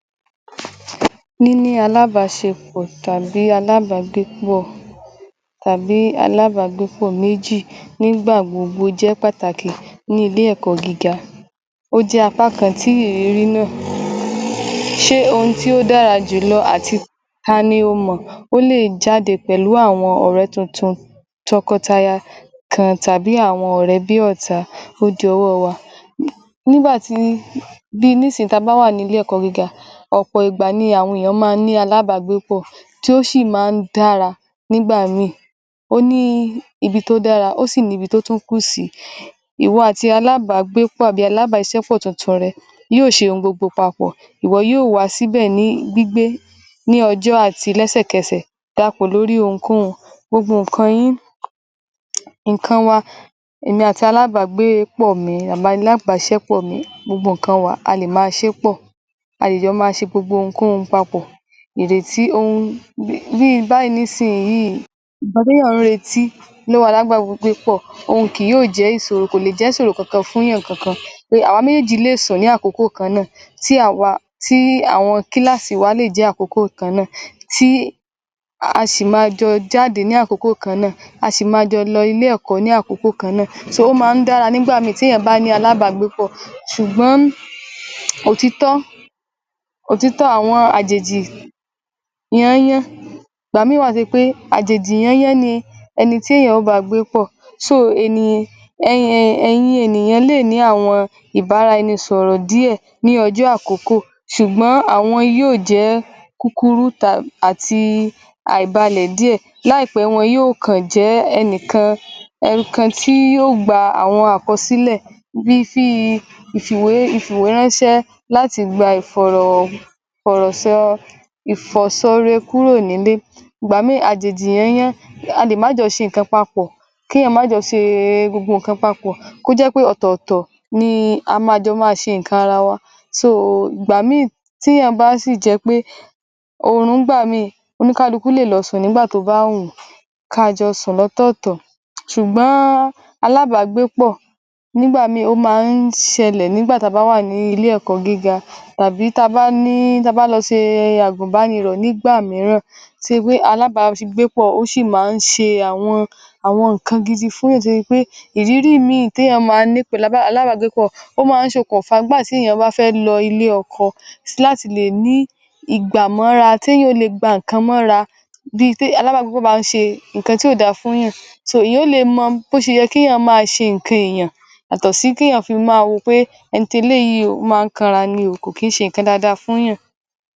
Ní ní alábásepọ̀ tàbí alábágbépọ̀ tàbí alábágbépọ̀ mejì nígbà gbogbo jẹ́ pàkàtì ní ilé ẹ̀kọ́ gíga, ó jẹ́ apá kan tí ìrírí mọ̀ sé ohun tí ó dára jùlọ àti ta ni o mọ̀ pé ó lè jáde pẹ̀lú àwọn ọ̀rẹ́ tuntun, tọkọtaya kan tàbí àwọn ọ̀rẹ́ bí ọ̀tá ó dòwọ́ wa. Nígbà tí bi ni sin ta bá wà ní ilé ẹ̀kọ́ gíga ọ̀pọ̀ ìgbà ni àwọn ènìyàn ma ń ni alábágbépọ̀ tí ó sì ma ń dára nígbà míì. Ó ní ibi tó dára ó sì tún ni ibi tó tún kù sí. Ìwo atí alábágbépọ̀ àbí alábàáṣiṣẹ́ tuntun rẹ yí ó ṣe ohun gbogbo papọ̀, iwo yóó wá sí bẹ̀ ní gbígbé ní ọjọ́ àti lẹ́ṣẹ̀kẹṣẹ̀, da ra pọ̀ lórí ohunkóhun gbogbo ǹkan yín, ǹkan wa èmi àti alábágbépọ̀ mi àbí alábàáṣiṣẹ́ pọ̀ mi gbogbo ǹkan wa a lè ma ṣe pọ̀, a lè jọ má ṣe gbogbo ohunkóhun papọ̀ dèdè tí ohun bí I báyìí ní sin yìí ǹkan té yàn ń retí lọ́wọ́ alábágbépọ̀ òhun kì yó jẹ́ ìsòro, kò lè jẹ́ ìsòro kankan fún yàn kankan pé àwa méjèèjì lè sùn mí àkókò kan náà, tí àwa, tí àwọn kílásí wa lè jẹ́ àkókò kan náà tí a sì jọ ma jáde ní àkókò kan náà. A má jọ lọ ilé ẹ̀kọ́ ní àkókò kan náà so ó ma ń dára nígbà míì tí èyàn bá ní alábágbé pọ̀ sùgbọ́n òtítọ́, òtítọ́ àwọn àjèjì yányán ìgbà mí ì wá tó ṣe pé àjèjì yányán ni ẹnití èyàn ó bá gbé pọ̀ so eni ẹ ẹ e èyin ènìyàn lè ní àwọn ìbá ara ẹni sọ̀rọ̀ díẹ̀ ní ọjọ́ à kọ́kọ́ sùgbọ́n àwọn yí ó jẹ́ kúkúrú àti à ì balẹ̀ díẹ̀ lá ì pẹ́ wọ́n yó kàn jẹ́ ẹnìkan, ẹnìkan tí yóó gba àwọ́n àkọsílẹ̀ bí i fí i, ìfìwé ìfìwé ránṣẹ́ láti gba ìfọ̀rọ̀ ìfọ̀rọ̀ sọ ìfọ̀sọre kúrò nílé ìgbà míràn àjòjì yányán a lè ma jọ ṣe ǹkan papọ̀, ké yàn ma jọ ṣe gbogbo ǹkan papọ̀ kó jẹ́ pẹ́ ọ̀tọ̀ọ̀tọ̀ ni a ma jọ má a ṣe ǹkan ara wa so ìgbà tí yàn bá sì jẹ́ pé orun nígbà míì oníkálukú lè lọ sùn nígbà tó bá wùn ú ka jọ sùn lọ́tọ́tọ̀tọ̀ sùgbọ́n alábágbé pọ̀ nígbà míì ó ma ń ṣẹlẹ̀ nígbà ta bá wà ní ilé ẹ̀kọ́ gíga àbí ta bá ní, ta bá lọ ṣe e àgùnbánirọ̀ nígbà mìíràn tó ṣe pé alábágbé pọ̀ ó sì ma ń ṣe àwọn, àwọn ǹkan gidi fún yàn tó ṣe pé ìrírí mí ì té yàn ma ní pẹ̀lú alábágbé pọ̀ ó ma ń ṣe kùn fá gbà té yàn bá fẹ́ lọ ilẹ́ ọkọ. Láti lè ní ìgbàmọ́ra té yàn ó le gba ǹkan mọ́ra bi tí alábágbépọ̀ bá ń ṣe ǹkan tí ò da fún yàn so èyàn ó le mọ́ bó sẹ yẹ́ ké yàn má a ṣe nǹkan èyàn yàtọ̀ sí té yàn fi má a wò ó pé ẹni tè léyìí o, ó ma ń kanra ní ò, kò kí í ṣe ǹkan daadaa fún yàn.